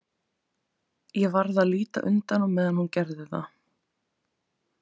Ég varð að líta undan á meðan hún gerði það.